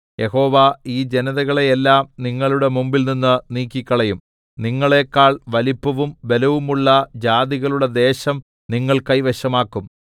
യഹോവ ഈ ജനതകളെയെല്ലാം നിങ്ങളുടെ മുമ്പിൽനിന്ന് നീക്കിക്കളയും നിങ്ങളേക്കാൾ വലിപ്പവും ബലവുമുള്ള ജാതികളുടെ ദേശം നിങ്ങൾ കൈവശമാക്കും